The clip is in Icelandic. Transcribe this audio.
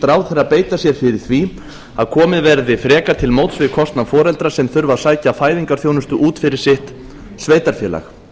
ráðherra beita sér fyrir því að komið verði frekar til móts við kostnað foreldra sem þurfa að sækja fæðingarþjónustu út fyrir sitt sveitarfélag